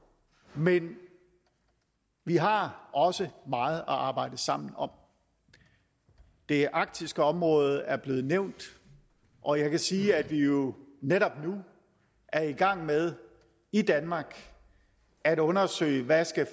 men vi har også meget at arbejde sammen om det arktiske område er blevet nævnt og jeg kan sige at vi jo netop nu er i gang med i danmark at undersøge hvad